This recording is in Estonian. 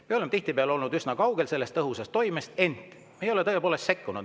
Me oleme tihtipeale olnud üsna kaugel tõhusast toimimisest, ent me tõepoolest ei ole sekkunud.